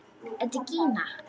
Þetta er Gína!